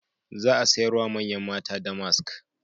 Za a sayar wa manyan mata damask.